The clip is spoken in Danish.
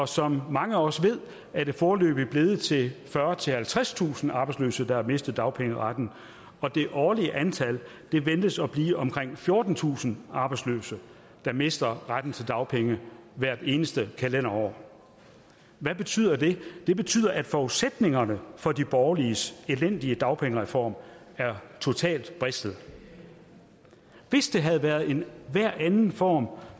som mange også ved er det foreløbig blevet til fyrretusind halvtredstusind arbejdsløse der har mistet dagpengeretten og det årlige antal ventes at blive omkring fjortentusind arbejdsløse der mister retten til dagpenge hvert eneste kalenderår hvad betyder det det betyder at forudsætningerne for de borgerliges elendige dagpengereform er totalt bristet hvis det havde været enhver anden form